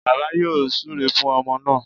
Bàbá yóò súre fún ọmọ náà